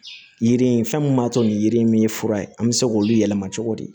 Yiri in fɛn mun b'a to nin yiri in ye fura ye an bɛ se k'olu yɛlɛma cogo di